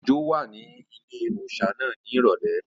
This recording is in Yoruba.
Òjó wà ní ilé-òòsà náà ní ìrọ̀lẹ́